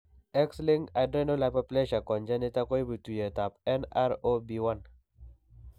X linked adrenal hypoplasia congenita koipu tuiyet ap nr0b1